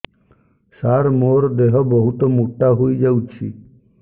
ସାର ମୋର ଦେହ ବହୁତ ମୋଟା ହୋଇଯାଉଛି